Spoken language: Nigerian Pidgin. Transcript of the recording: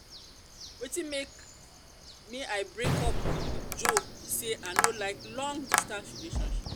wetin make may i break up with joe be say i no like long distance relationship